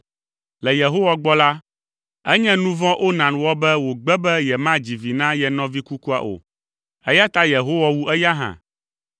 Le Yehowa gbɔ la, enye nu vɔ̃ Onan wɔ be wògbe be yemadzi vi na ye nɔvi kukua o, eya ta Yehowa wu eya hã.